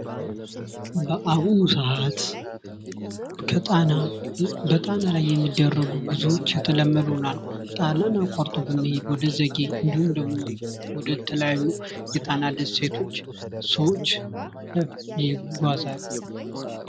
በአሁኑ ሰዓት በጣና ላይ የሚደረጉ ጉዞዎች የተለመዱ ሆነዋል። ጣናን አቋርጠዉ የሚሄዱ ወደ ዘጌ እንዲሁም ደግሞ ወደ ተለያዩ የጣና ደሴቶች ሰዎች ይጓዛሉተ